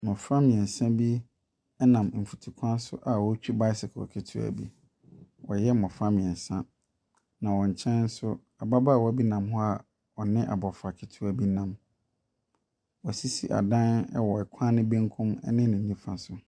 Mmɔfra mmeɛnsa bi nam mfutukwan so a wɔretwi bicycle ketewɔ bi. Wɔyɛ mmɔfra mmeɛnsa. Na wɔn nkyɛn nso, ababaawa bi nam hɔ a ɔne abɔfra ketewa bi nam. Wɔasisi asan wɔ kwan no benkum ne ne nifa so.